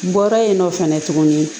Bɔra yen nɔ fɛnɛ tuguni